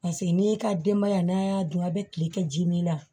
Paseke n'e ka denbaya n'a y'a dun a bɛ tile kɛ ji min na